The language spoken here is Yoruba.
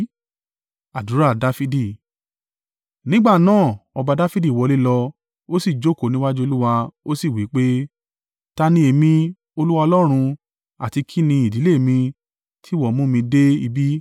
Nígbà náà, ọba Dafidi wọlé lọ, ó sì jókòó níwájú Olúwa ó sì wí pé, “Ta ni èmi, Olúwa Ọlọ́run, àti ki ni ìdílé mi, tí ìwọ mú mi dé ibí?